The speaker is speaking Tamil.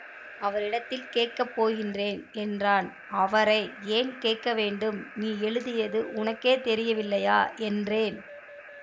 அவரிடத்தில் கேட்கப்போகின்றேன் என்றான் அவரை ஏன் கேட்கவேண்டும் நீ எழுதியது உனக்கே தெரியவில்லையா என்றேன்